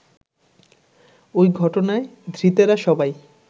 ওই ঘটনায় ধৃতেরা সবাই